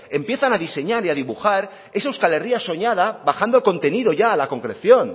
empiezan a diseñar y dibujar esa euskal herria soñada bajando el contenido ya a la concreción